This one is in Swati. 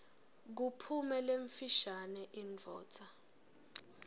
kuphume lemfishane indvodza